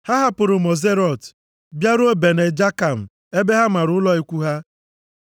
Ha hapụrụ Moserot bịaruo Bene Jaakan ebe ha mara ụlọ ikwu ha.